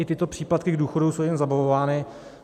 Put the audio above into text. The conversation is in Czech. I tyto příplatky k důchodu jsou jim zabavovány.